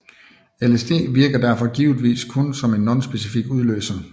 LSD virker derfor givetvis kun som en nonspecifik udløser